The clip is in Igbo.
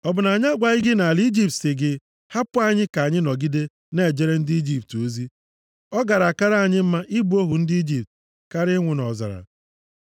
Ọ bụ na anyị agwaghị gị nʼala Ijipt si gị, ‘Hapụ anyị ka anyị nọgide na-ejere ndị Ijipt ozi?’ Ọ gara akara anyị mma ị bụ ohu ndị Ijipt karịa ịnwụ nʼọzara.”